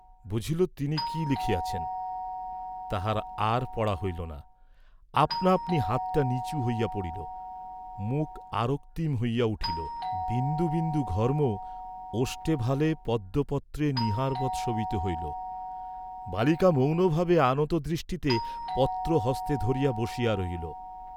বুঝিল তিনি কি লিখিয়াছেন। তাহার আর পড়া হইল না, আপনা আপনি হাতটা নীচু হইয়া পড়িল, মুখ আরক্তিম হইয়া উঠিল, বিন্দু বিন্দু ঘর্ম ওষ্ঠে ভালে পদ্মপত্রে নীহারবৎ শোভিত হইল, বালিকা মৌনভাবে আনত দৃষ্টিতে পত্র হস্তে ধরিয়া বসিয়া রহিল।